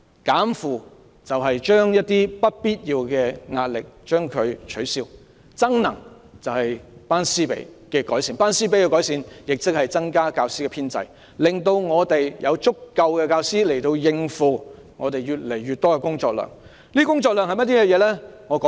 "減負"就是消除一些不必要的壓力，"增能"就是改善"班師比"，亦即增加教師編制，讓學校有足夠的教師應付越來越多的工作量。